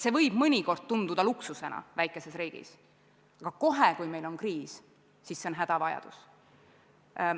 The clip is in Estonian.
See võib mõnikord tunduda luksusena väikeses riigis, aga kohe, kui meil on kriis, on see hädavajadus.